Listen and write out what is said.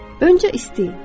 Öncə istəyin.